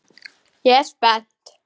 Ég er spennt.